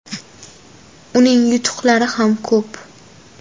Uning yutuqlari ham ko‘p.